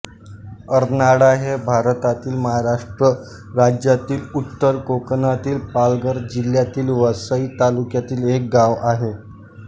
अर्नाळा हे भारतातील महाराष्ट्र राज्यातील उत्तर कोकणातील पालघर जिल्ह्यातील वसई तालुक्यातील एक गाव आहे